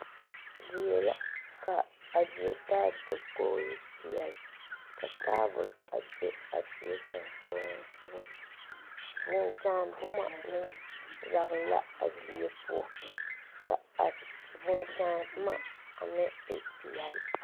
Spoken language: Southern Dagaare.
Die la ka a die taa dakogri peɛle ka taabol be a die sensɔglensɔga vūū kyaare boma meŋ yagle la a die poɔ ka a vūū kyaane boma a meŋ e peɛle.